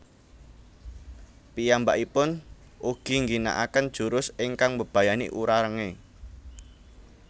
Piyambakipun ugi ngginakaken jurus ingkang mbebayani Urarenge